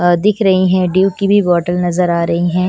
दिख रही है ड्यू की भी बोतल नजर आ रही है।